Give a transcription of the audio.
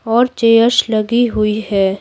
और चेयर्स लगी हुई है।